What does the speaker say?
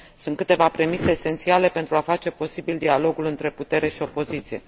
Sunt câteva premise esențiale pentru a face posibil dialogul între putere și opoziție.